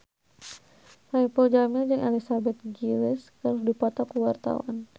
Saipul Jamil jeung Elizabeth Gillies keur dipoto ku wartawan